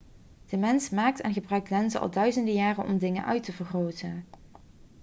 de mens maakt en gebruikt lenzen al duizenden jaren om dingen uit te vergroten